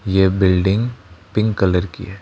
ये building pink colour की है।